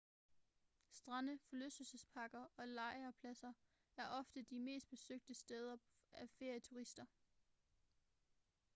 strande forlystelsesparker og lejrpladser er ofte de mest besøgte steder af ferieturister